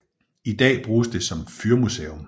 I dag bruges det som fyrmuseum